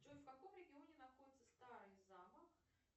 джой в каком регионе находится старый замок